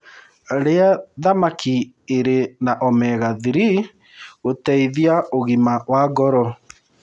Rĩa thamakĩ ĩrĩ na omega 3 gũteĩthagĩa ũgima wa ngoro